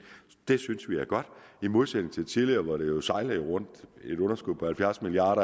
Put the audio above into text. det synes vi er godt i modsætning til tidligere hvor det jo sejlede rundt et underskud på halvfjerds milliard